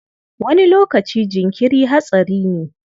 Wani lokaci jinkiri hatsari ne.